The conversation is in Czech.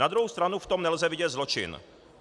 Na druhou stranu v tom nelze vidět zločin.